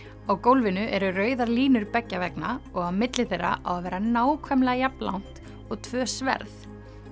á gólfinu eru rauðar línur beggja vegna og á milli þeirra á að vera nákvæmlega jafn langt og tvö sverð